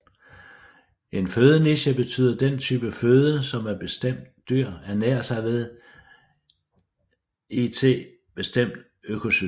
En fødeniche betyder den type føde som et bestemt dyr ernærer sig ved i t bestemt økosystem